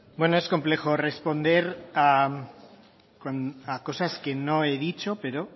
hitza es complejo responder a cosas que no he dicho pero